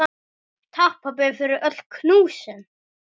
Takk, pabbi, fyrir öll knúsin.